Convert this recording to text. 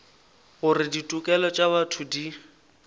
gore ditokelo tša botho di